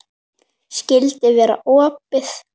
Skyldi vera opið?